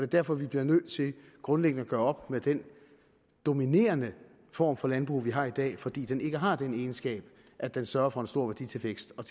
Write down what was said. derfor vi bliver nødt til grundlæggende at gøre op med den dominerende form for landbrug vi har i dag fordi den ikke har den egenskab at den sørger for en stor værditilvækst og